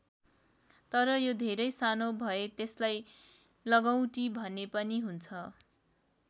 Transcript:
तर यो धेरै सानो भए त्यसलाई लगौँटी भने पनि हुन्छ।